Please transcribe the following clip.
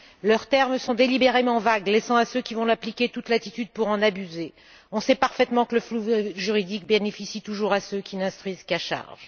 Leurs termes sont délibérément vagues, laissant à ceux qui vont l'appliquer toute latitude pour en abuser. On sait parfaitement que le flou juridique bénéficie toujours à ceux qui n'instruisent qu'à charge.